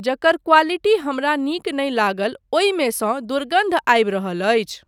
जकर क्वालिटी हमरा नीक नहि लागल ओहिमे सँ दुर्गन्ध आबि रहल अछि।